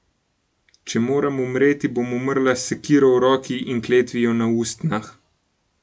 Če moram umreti, bom umrla s sekiro v roki in kletvijo na ustnah.